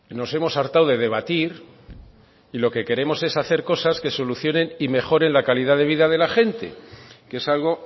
nos hemos hartado de debatir y lo que queremos es hacer cosas que solucionen y mejoren la calidad de vida de la gente que es algo